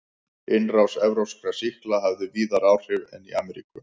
Innrás evrópskra sýkla hafði víðar áhrif en í Ameríku.